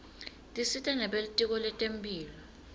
tisita nebelitiko letemphilo